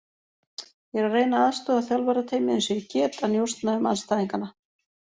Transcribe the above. Ég er að reyna að aðstoða þjálfarateymið eins og ég get að njósna um andstæðinganna.